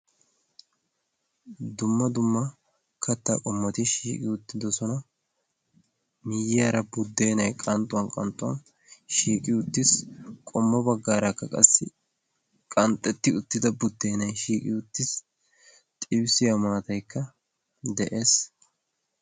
Dumma dumma kattaa qommoti shiiqi uttido sona miyyyaara buddeenai qanxxuwan qanxxuwan shiiqi uttiis. Qommo baggaaraakka qassi qanxxetti uttida buddeenay shiiqi uttiis. Xibissiya maataykka de'ees.